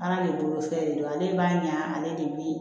Ala de bolo fɛn de don ale b'a ɲa ne de bi